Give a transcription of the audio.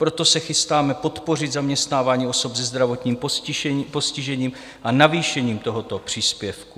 Proto se chystáme podpořit zaměstnávání osob se zdravotním postižením a navýšením tohoto příspěvku.